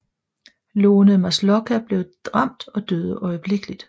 Lone Maslocha blev ramt og døde øjeblikkeligt